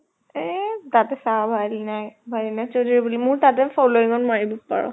এহ তাতে চা ভাইলিনা, ভাইলিনা চৌধুৰী বুলি মোৰ তাতে following ত মাৰিব পাৰ